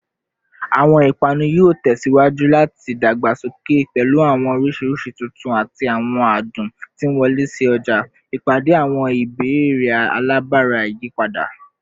Awọn ipanu yoo tẹsiwaju lati dagbasoke, pẹlu awọn oriṣi tuntun ati awọn adun ti nwọle si ọja, ipade awọn ibeere alabara iyipada